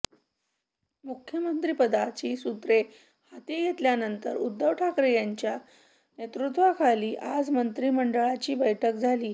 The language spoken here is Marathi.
मुख्यमंत्रिपदाची सुत्रे हाती घेतल्यानंतर उद्धव ठाकरे यांच्या नेतृत्वाखाली आज मंत्रिमंडळाची बैठक झाली